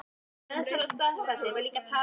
Í meðferðinni á Staðarfelli var líka talað um